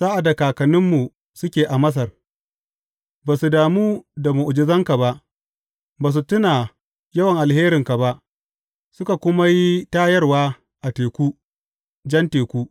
Sa’ad da kakanninmu suke a Masar, ba su damu da mu’ujizanka ba; ba su tuna yawan alheranka ba, suka kuma yi tayarwa a teku, Jan Teku.